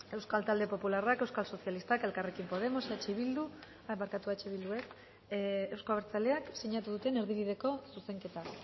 euskal talde popularrak euskal sozialistak elkarrekin podemos eta euzko abertzaleak sinatu duten erdibideko zuzenketa